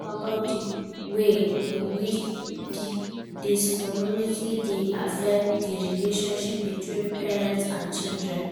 You fit talk about di ways in which dis phenomenon dey affect di relationship between parents and children.